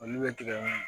Olu bɛ tigɛ